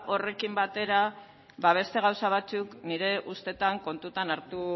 horrekin batera beste gauza batzuk nire ustetan kontutan hartu